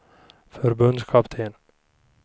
förbundskapten